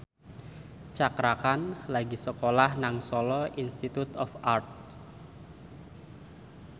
Cakra Khan lagi sekolah nang Solo Institute of Art